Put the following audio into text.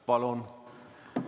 Palun!